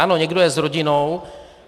Ano, někdo je s rodinou.